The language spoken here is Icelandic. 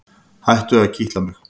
Hættu að kitla mig.